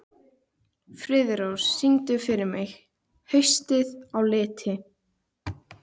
Friðrós, syngdu fyrir mig „Haustið á liti“.